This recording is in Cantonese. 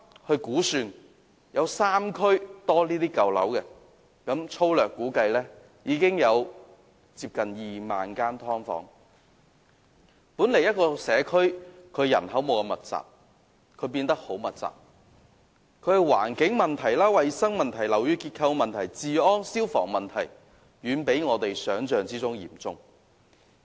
這個社區的人口本來不太密集，但現在卻因為"劏房"而變得相當密集，所牽涉的環境、衞生、樓宇結構、治安及消防問題遠比我們想象中嚴重。